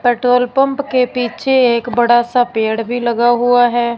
Petrol pump के पीछे एक बड़ा सा पेड़ भी लगा हुआ है।